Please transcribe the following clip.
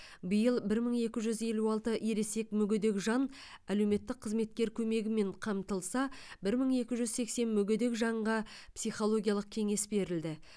биыл бір мың екі жүз елу алты ересек мүгедек жан әлеуметтік қызметкер көмегімен қамтылса бір мың екі жүз сексен мүгедек жанға психологиялық кеңес берілді